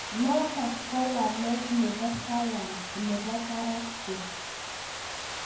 Notok ko waleet neboo sayans neboo paraak koot